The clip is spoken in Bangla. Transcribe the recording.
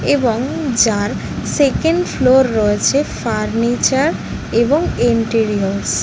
এবং যার সেকেন্ড ফ্লোর রয়েছে ফার্নিচার এবং ইন্টেরিয়র্স ।